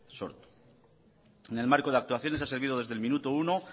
sortu sin embargo en el marco de actuaciones ha servido desde el minuto uno